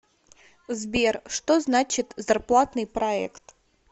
сбер что значит зарплатный проект